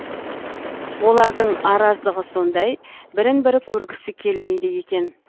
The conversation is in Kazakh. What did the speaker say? олардың араздығы сондай бірін бірі көргісі келмейді екен